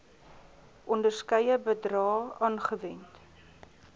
onderskeie bedrae aangewend